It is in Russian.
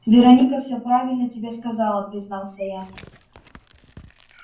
вероника всё правильно тебе сказала признался я